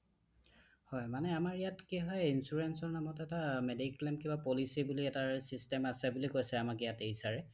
অ হয় মানে আমাৰ ইয়াত কি হয় insurance ৰ নামত এটা medical and policy বুলি এটাৰ system আছে বুলি কৈছে আমাক ইয়াতে HR sir এ